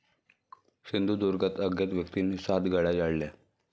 सिंधुदुर्गात अज्ञात व्यक्तींनी सात गाड्या जाळल्या